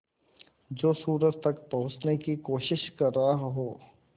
जो सूरज तक पहुँचने की कोशिश कर रहा हो